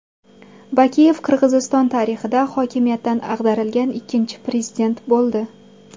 Bakiyev Qirg‘iziston tarixida hokimiyatdan ag‘darilgan ikkinchi prezident bo‘ldi.